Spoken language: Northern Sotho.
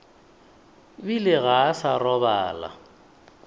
bile ga a sa robala